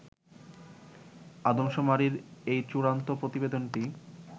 আদমশুমারির এই চুড়ান্ত প্রতিবেদনটি